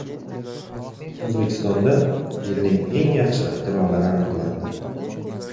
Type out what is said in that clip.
O‘zbekistonda yilning eng yaxshi ixtirolari aniqlandi.